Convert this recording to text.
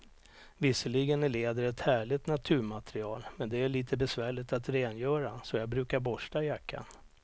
Visserligen är läder ett härligt naturmaterial, men det är lite besvärligt att rengöra, så jag brukar borsta jackan.